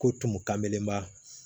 Ko tumu kanenba